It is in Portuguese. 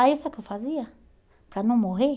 Aí, sabe o que eu fazia para não morrer?